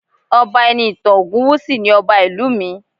Ọba Enitan Ogunwusi ni Ọba ìlú mi